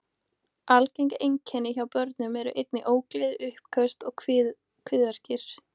Algeng einkenni hjá börnum eru einnig ógleði, uppköst og kviðverkir.